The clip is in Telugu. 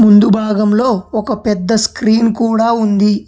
ముందు భాగంలో ఒక పెద్ద స్క్రీన్ కూడా ఉంది.